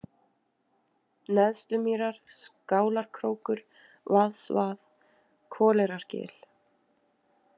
Neðstumýrar, Skálarkrókur, Vaðsvað, Koleyrargil